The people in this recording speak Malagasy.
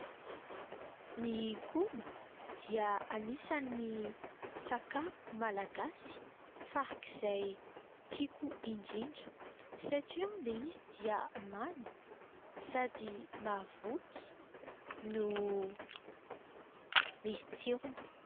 Ny koba dia anisan'ny sakafo Malagasy farak'izay tiko indrindra satria ilay izy dia many sady mahavoky no misy tsirony.